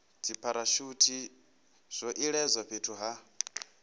dzipharashuthi zwo iledzwa fhethu ha